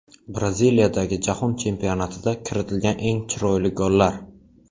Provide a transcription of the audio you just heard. Braziliyadagi Jahon chempionatida kiritilgan eng chiroyli gollar .